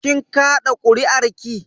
Kin kaɗa kuri'arki?